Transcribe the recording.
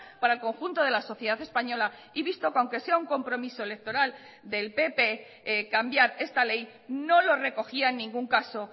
para el conjunto de la sociedad española y visto que aunque sea un compromiso electoral del pp cambiar esta ley no lo recogía en ningún caso